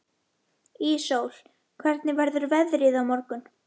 Íssól, hvernig verður veðrið á morgun?